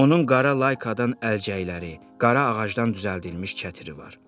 Onun qara laykadan əlcəkləri, qara ağacdan düzəldilmiş çətiri var.